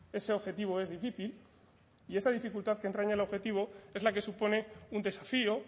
ese objetivo es difícil y esa dificultad que entraña el objetivo es la que supone un desafío